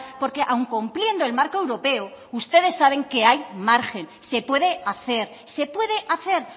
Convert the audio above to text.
porque aun cumpliendo el marco europeo ustedes saben que hay margen se puede hacer se puede hacer